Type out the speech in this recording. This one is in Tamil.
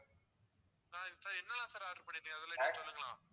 ஆஹ் sir என்னென்னலாம் order பண்ணிருந்தீங்க அதெல்லாம் ன் கிட்ட சொல்லுங்களேன்.